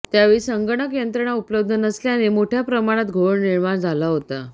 त्यावेळी संगणक यंत्रणा उपलब्ध नसल्याने मोठ्या प्रमाणात घोळ झाला होता